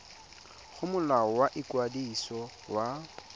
go molao wa ikwadiso wa